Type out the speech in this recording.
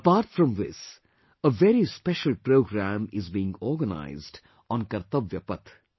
Apart from this, a very special program is being organized on Kartavya Path